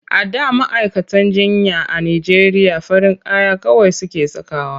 A da ma'aikatan jinya a Najeriya farin kaya kawai suke sakawa.